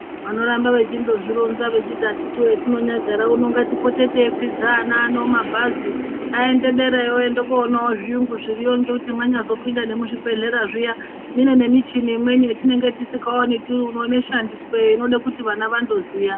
Vandoramba veindozvironza vechiti akitiwe zvatinyongagara uno ngatipote teikwidza ana ano mabhazi aende derayo oende kuoonawo zviyungu zviriyo ngekuti mwanyazopine ngemuzvibhedhlera zviya mune nemichini imweni yatinenge tisingaoni tiri uno inoshandisweyo inode kuti vana zvandoziya.